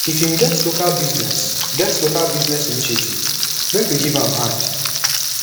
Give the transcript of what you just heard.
if im get local business get local business initiative make we give am hand